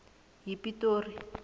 yipitori